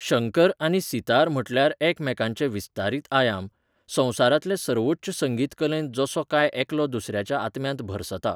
शंकर आनी सितार म्हटल्यार एकामेकांचे विस्तारीत आयाम, संवसारांतले सर्वोच्च संगीत कलेंत जसो काय एकलो दुसऱ्याच्या आत्म्यांत भरसता.